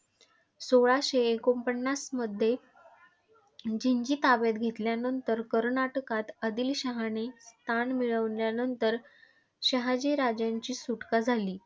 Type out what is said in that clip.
सोळाशे एकोणपन्नासमध्ये ̆जिंजी ताब्यात घेल्यानंतर कर्नाटकात आदिलशहाने स्थान मिळविल्यानंतर शहाजी राजांची सुटका झाली.